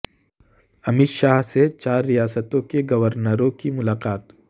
امیت شاہ سے چار ریاستوں کے گورنروں کی ملاقات